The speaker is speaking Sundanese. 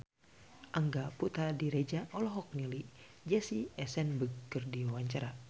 Angga Puradiredja olohok ningali Jesse Eisenberg keur diwawancara